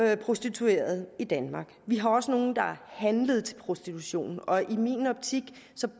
jo prostituerede i danmark vi har også nogle der er handlet til prostitution og i min optik